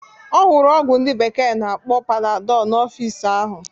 Ọ hụrụ ọgwụ ndị bekee na-akpọ Panadọl n'ọfịs ahụ.